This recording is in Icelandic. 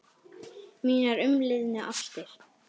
Mínar umliðnu ástir.